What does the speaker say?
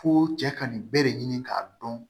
Fo cɛ ka nin bɛɛ de ɲini k'a dɔn